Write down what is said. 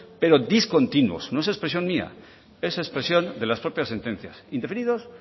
pero discontinuos no es expresión mía es expresión de las propias sentencias indefinidos